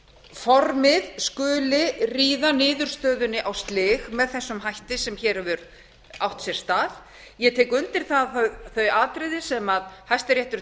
formið skuli ríða niðurstöðunni á slig með þessum hætti sem hér hefur átt sér stað ég tek undir þau þau atriði sem hæstiréttur